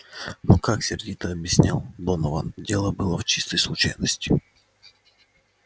но как сердито объяснял донован дело было в чистой случайности